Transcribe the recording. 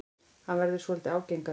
Hann verður svolítið ágengari.